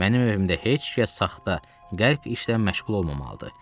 Mənim evimdə heç kəs saxta, qəlb işlə məşğul olmamalıdır.